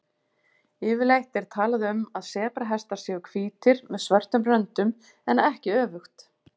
Yfirleitt er talað um að sebrahestar séu hvítir með svörtum röndum en ekki öfugt.